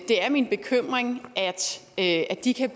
er min bekymring at de kan